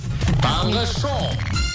таңғы шоу